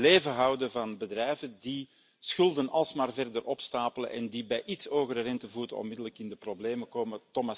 het in leven houden van bedrijven die schulden alsmaar verder opstapelen en bij een iets hogere rentevoet onmiddellijk in de problemen komen.